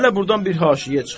Hələ burdan bir haşiyə çıxaq.